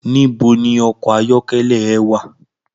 Nibó ni òkò àyòkèlè è wá?